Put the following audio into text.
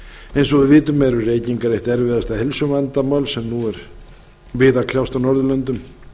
eins og við vitum eru reykingar eitt erfiðasta heilsuvandamál sem nú er við að kljást á norðurlöndum